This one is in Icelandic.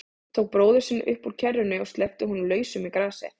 Tók bróður sinn upp úr kerrunni og sleppti honum lausum í grasið.